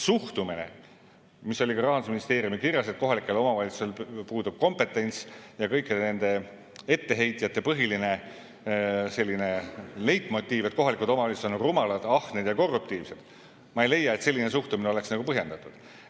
Suhtumine, mis oli ka Rahandusministeeriumi kirjas, et kohalikel omavalitsustel puudub kompetents, ja kõikide nende etteheitjate põhiline selline leitmotiiv, et kohalikud omavalitsused on nagu rumalad, ahned ja korruptiivsed – ma ei leia, et selline suhtumine on põhjendatud.